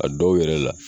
A dɔw yɛrɛ la